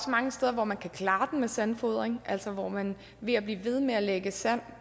mange steder hvor man kan klare med sandfodring altså hvor man ved at blive ved med at lægge sand